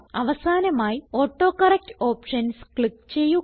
അവസാനമായി autocorrect options click ചെയ്യുക